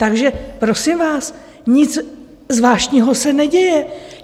Takže prosím vás, nic zvláštního se neděje.